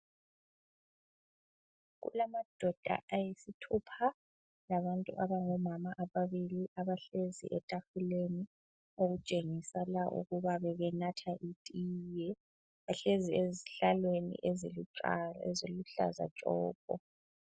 Kulamadoda ayisithupha, labantu abangomama ababili abahlezi etafuleni okutshengisela ukuba bebenatha itiye. Bahlezi ezihlalweni eziluhlaza tshoko.